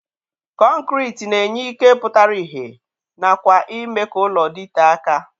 Kọnkriti na-enye ike pụtara ihe nakwa ime ka ụlọ dịtee aka.